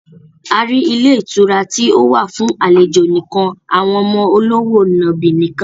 A rí ilé ìtura tí ó wà fún àlejò nìkan, àwọn ọmọ olówò nàbì nìkan